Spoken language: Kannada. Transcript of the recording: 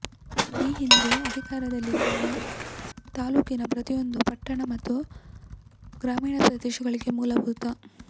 ಈ ಹಿಂದೇ ಅಧಿಕಾರದಲ್ಲಿದ್ದಾಗ ತಾಲೂಕಿನ ಪ್ರತಿಯೊಂದು ಪಟ್ಟಣ ಮತ್ತು ಗ್ರಾಮೀಣ ಪ್ರದೇಶಗಳಿಗೆ ಮೂಲಭೂತ